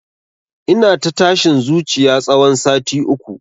Ina ta tashin zuciya tsawon sati uku